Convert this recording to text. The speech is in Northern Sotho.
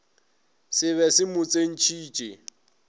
se be se mo tsentšhitše